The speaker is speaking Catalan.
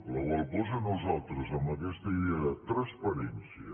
per la qual cosa nosaltres amb aquesta idea de transparència